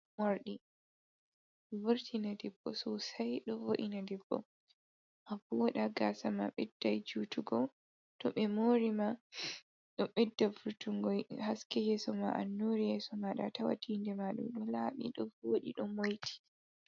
Moorɗi, wurtina debbo soosay ɗo woodina debbo, a wooɗa gaasa ma ɓedday juutugo, to ɓe moori ma, ɗo ɓedda wurtunngo haske yeeso ma, annuuri yeeso maaɗa, tawa tiinde maaɗa ɗo laaɓi ɗo wooɗi ɗo moyti.